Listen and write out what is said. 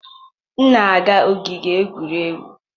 M na-aga n'ogige egwuregwu